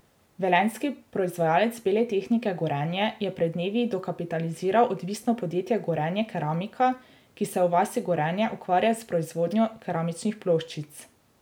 Velenjski proizvajalec bele tehnike Gorenje je pred dnevi dokapitaliziral odvisno podjetje Gorenje Keramika, ki se v vasi Gorenje ukvarja z proizvodnjo keramičnih ploščic.